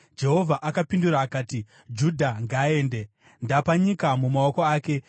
Jehovha akapindura akati, “Judha ngaaende; ndapa nyika mumaoko ake.”